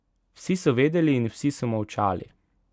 Vsi so vedeli in vsi so molčali.